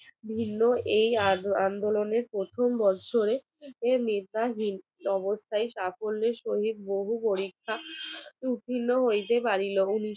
ভিন্ন এই আন্দোলনের প্রথম বৎসরে নেতা হীন অবস্থায় সাফল্যের সহিত সুপরি পরীক্ষা সূতিলও হইতে পারিল